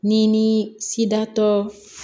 Ni ni sidatɔ